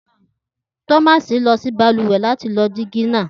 Thomas lọ si baluwe lati lo digi naa.